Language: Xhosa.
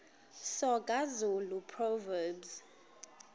soga zulu proverbs